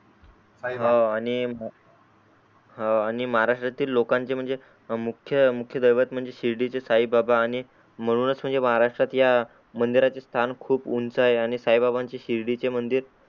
हा आणि ह आणि माहाराष्ट्रातील लोकांचे म्हणजे मुख्य मुख्य देवत म्हणजे शिर्डीचे साई बाबा आणि म्हणूनच म्हणजे माहाराष्ट्रात या मंदिराची स्थान खूप उंच आहे आणि साई बाबांचे शिर्डीचे मंदिर